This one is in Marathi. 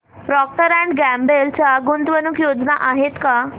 प्रॉक्टर अँड गॅम्बल च्या गुंतवणूक योजना आहेत का